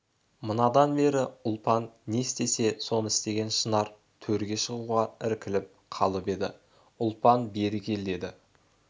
манадан бері ұлпан не істесе соны істеген шынар төрге шығуға іркіліп қалып еді ұлпан бері кел деді